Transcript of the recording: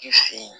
Ji fen